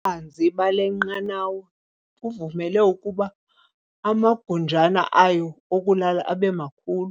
Ububanzi bale nqanawa buvumele ukuba amagunjana ayo okulala abe makhulu.